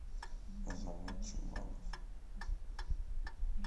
азамат чуманов